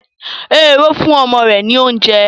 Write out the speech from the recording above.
Ehoro fún ọmọ rẹ̀ ní oúnjẹ.